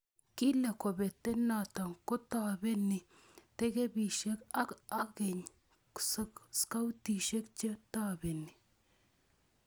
Kile kobatee noto kobtobenik tekepishen ak akeny skautishe che tobeniii.